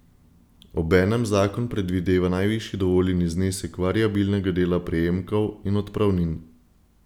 Obenem zakon predvideva najvišji dovoljeni znesek variabilnega dela prejemkov in odpravnin.